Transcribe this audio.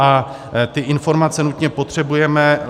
A ty informace nutně potřebujeme.